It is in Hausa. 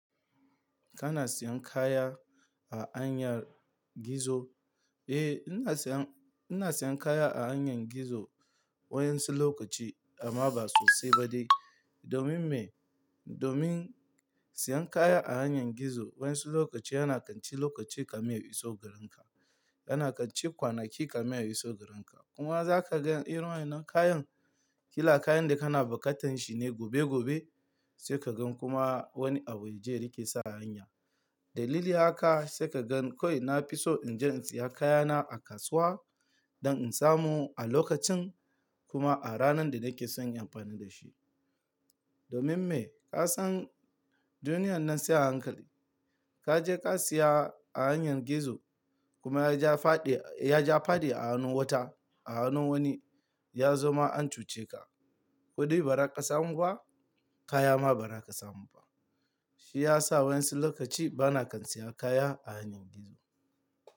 Kana siyan kaya a hanyar gizo? Eh, ina siyan, ina siyan kaya a hanyar gizo waƴansu lokaci amma ba sosai ba dai. Domin me? Domin siyan kaya a hanyar gizo wasu lokaci yana kanci lokaci ka min ya iso gareka. Yana kanci kwanaki kamin ya iso garin ka. Kuma za ka gan irin wannan kayan, kila kayan da kana buƙatan shi ne gobe gobe sai ka gan kuma wani abu ya je ya riƙe sa hanya. Dalili haka sai ka gan kawai na fi so in je in siya kayana a kasuwa don in samu a lokacin kuma a ranar da nake son inyi amfani da shi. Domin me? Ka san duniyan nan sai a hankali. Ka je ka siya a hanyar gizo kuma ya je faɗi, ya je faɗi a hannun wata, a hannun wani ya zamo ma ancuce ka. Kuɗi ba za ka samu ba, kaya ma ba za ka samu ba. Shi ya sa waƴansu lokaci ba na kan siyan kaya a hanyar gizo.